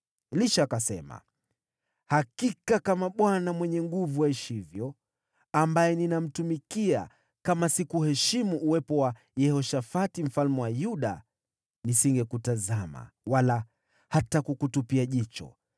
Elisha akasema, “Hakika, kama Bwana Mwenye Nguvu Zote aishivyo ambaye ninamtumikia, kama si kuheshimu Yehoshafati mfalme wa Yuda, nisingekutazama wala hata kukutupia jicho.